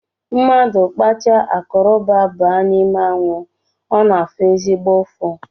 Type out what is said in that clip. Mmadụ kpacha koroba baa n’ime anwụ ọ na-afụ ezigbo ụfụ